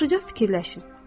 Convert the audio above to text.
Yaxşıca fikirləşin.